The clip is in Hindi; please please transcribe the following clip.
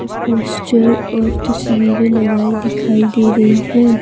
पोस्चर और तस्वीरें लगाई दिखाई दे रही है।